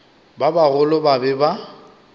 ba bagolo ba be ba